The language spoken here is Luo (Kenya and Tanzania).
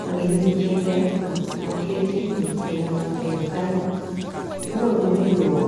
Magi gin chike moketi mag pinywa mar Kenya kae monego obed ni iluwo